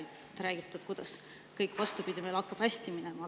" Nagu praegugi, te räägite, kuidas meil kõik, vastupidi, hakkab hästi minema.